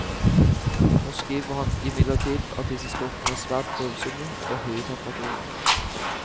Nå skriver han imidlertid at disse stoffene er svært følsomme for høye temperaturer.